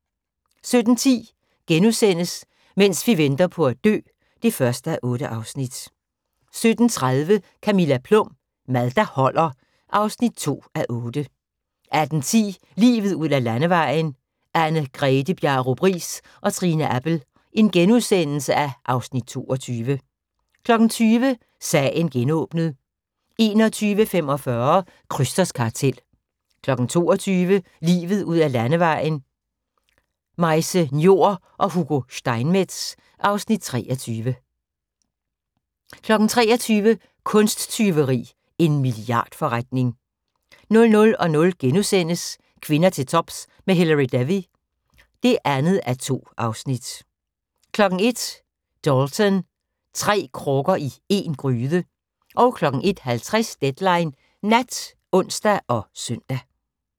17:10: Mens vi venter på at dø (1:8)* 17:30: Camilla Plum – Mad der holder (2:8) 18:10: Livet ud ad landevejen: Anne Grethe Bjarup Riis og Trine Appel (Afs. 22)* 20:00: Sagen genåbnet 21:45: Krysters kartel 22:00: Livet ud ad landevejen: Majse Njor og Hugo Steinmetz (Afs. 23) 23:00: Kunsttyveri – en milliardforretning 00:00: Kvinder til tops med Hilary Devey (2:2)* 01:00: Dalton – tre krukker i én gryde 01:50: Deadline Nat (ons og søn)